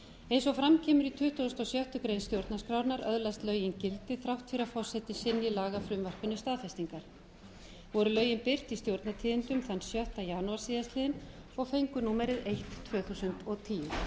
eins og fram kemur í tuttugasta og sjöttu grein stjórnarskrárinnar öðlast lögin gildi þrátt fyrir að forseti synji lagafrumvarpinu staðfestingar voru lögin birt í stjórnartíðindum þann sjötta janúar síðastliðinn og fengu númerið eitt tvö þúsund og tíu